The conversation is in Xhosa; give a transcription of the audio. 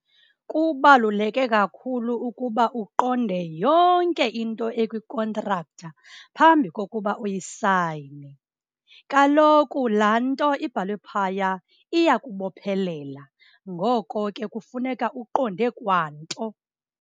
Kubaluleke kakhulu ukuba uqonde yonke into ekwikontraktha phambi kokuba uyisayine. Kaloku laa nto ibhalwe phaya iyakubophelela ngoko ke kufuneka uqonde kwa nto.